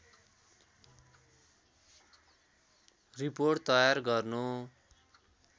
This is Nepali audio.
रिपोर्ट तयार गर्नु